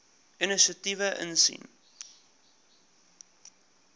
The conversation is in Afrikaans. inisiatiewe insien